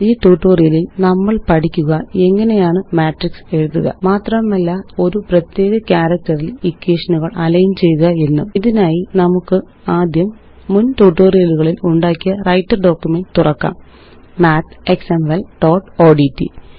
ഈ ട്യൂട്ടോറിയലില് നമ്മള് പഠിക്കുക എങ്ങനെയാണ് മാട്രിക്സ് എഴുതുക മാത്രമല്ല ഒരു പ്രത്യേക ക്യാരക്റ്ററില് എക്വേഷനുകള് അലൈന് ചെയ്യുക എന്നും ഇതിനായി നമുക്കാദ്യം മുന് ട്യൂട്ടോറിയലുകളില് ഉണ്ടാക്കിയ വ്രൈട്ടർ ഡോക്യുമെന്റ് തുറക്കാം mathexample1ഓഡ്റ്റ്